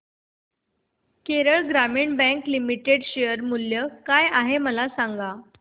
Kerala Gramin bank limited share मूल्य काय आहे मला सांगा